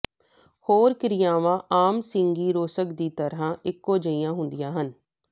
ਹੋਰ ਕਿਰਿਆਵਾਂ ਆਮ ਸਿੰਗੀਰੋਸਕ ਦੀ ਤਰ੍ਹਾਂ ਇਕੋ ਜਿਹੀਆਂ ਹੁੰਦੀਆਂ ਹਨ